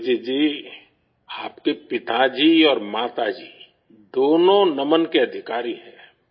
ابھجیت جی، آپ کے والد اور والدہ دونوں تعریف کے مستحق ہیں